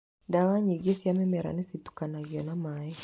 Ndawa nyingĩ cia mĩmera nĩ citukanagio na maaĩ.